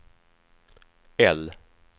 L